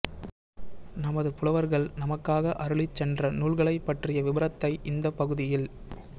நமது புலவர்கள் நமக்காக அருளிச் சென்ற நூல்களைப் பற்றிய விபரத்தை இந்தப் பகுதியில்